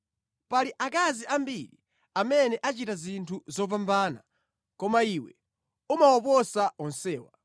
“Pali akazi ambiri amene achita zinthu zopambana koma iwe umawaposa onsewa.”